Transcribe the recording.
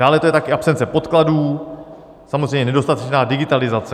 Dále to je také absence podkladů, samozřejmě nedostatečná digitalizace.